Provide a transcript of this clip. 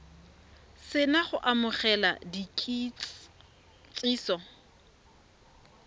se na go amogela kitsiso